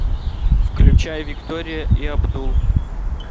включай виктория и абдул